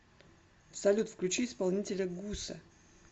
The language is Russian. салют включи исполнителя гуса